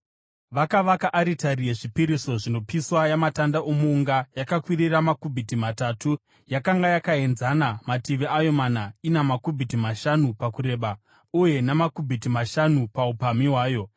Vakavaka aritari yezvipiriso zvinopiswa yamatanda omuunga, yakakwirira makubhiti matatu ; yakanga yakaenzana mativi ayo mana ina makubhiti mashanu pakureba uye namakubhiti mashanu paupamhi hwayo.